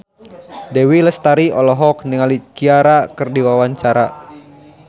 Dewi Lestari olohok ningali Ciara keur diwawancara